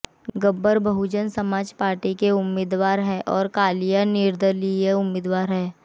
Gabbar Bahujan Samaj party के उम्मीदवार हैं तो कालिया निर्दलीय उम्मीदवार हैं